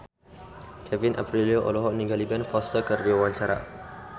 Kevin Aprilio olohok ningali Ben Foster keur diwawancara